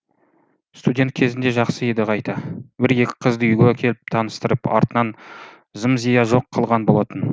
студент кезінде жақсы еді қайта бір екі қызды үйге әкеліп таныстырып артынан зым зия жоқ қылған болатын